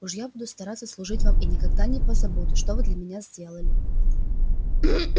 уж я буду стараться служить вам и никогда не позабуду что вы для меня сделали